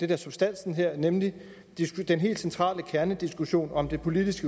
er substansen her nemlig den helt centrale kernediskussion om det politiske